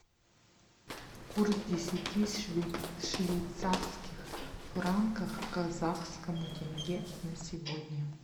курс десяти швейцарских франков к казахскому тенге на сегодня